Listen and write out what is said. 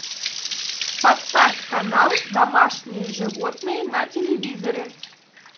поставь канал домашние животные на телевизоре